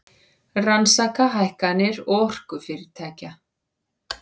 Rannsaka hækkanir orkufyrirtækja